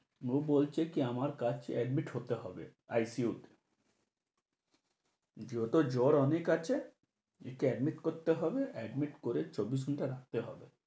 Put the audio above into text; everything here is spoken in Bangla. ও বলছে কি আমার কাছে admit হতে হবে, ICU তে। যত জ্বর অনেক আছে, একে admit করতে হবে, admit করে solution টা রাখতে হবে।